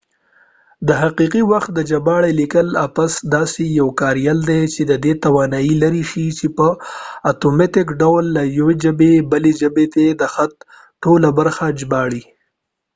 د حقیقي وخت د ژباړې لیکلې اپس داسې یو کاریال دی چې ددې توانایي لري چې په اتوماتیک ډول له یوې ژبې بلې ته د خط ټوله برخه ژباړي